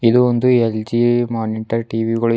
ಇದು ಒಂದು LG monitor TV ಗಳು--